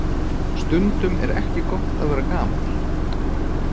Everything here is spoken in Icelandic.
Stundum er ekki gott að vera gamall.